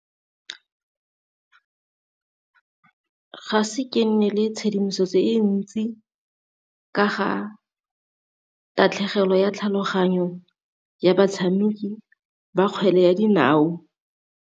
Ga ise ke nne le tshedimosetso e ntsi ka ga tatlhegelo ya tlhaloganyo ya batshameki ba kgwele ya dinao.